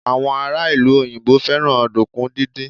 àwọn ará ìlú òyìnbó fẹràn ọdunkun didin